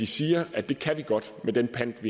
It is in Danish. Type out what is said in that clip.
siger at det kan man godt med den pant